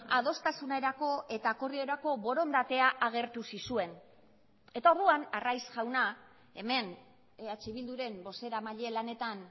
adostasunerako eta akordiorako borondatea agertu zizuen eta orduan arraiz jauna hemen eh bilduren bozeramaile lanetan